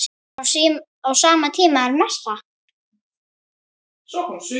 Á sama tíma er messa.